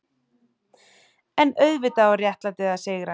EN auðvitað á réttlætið að sigra.